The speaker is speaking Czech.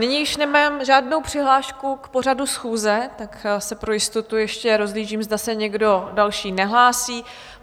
Nyní už nemám žádnou přihlášku k pořadu schůze, tak se pro jistotu ještě rozhlížím, zda se někdo další nehlásí.